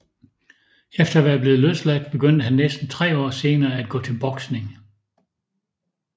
Efter at være blevet løsladt begyndte han næsten tre år senere at gå til boksning